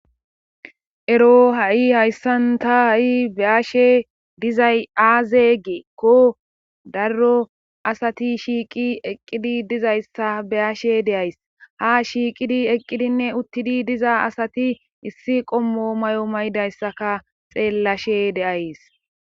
ero ha7i hayssan ta ha7i beyashe dizay aaze gikko darro asati shiiqi eqqidi dizayssa beyashe deays ha shiiqidi eqqidinne uttidi diza asati issi qommo may7o maydayssaka xeellashe deays